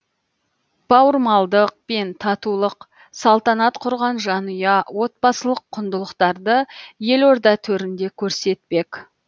бауырмалдық пен татулық салтанат құрған жанұя отбасылық құндылықтарды елорда төрінде көрсетпек